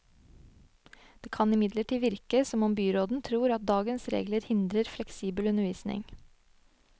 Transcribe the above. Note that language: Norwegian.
Det kan imidlertid virke som om byråden tror at dagens regler hindrer fleksibel undervisning.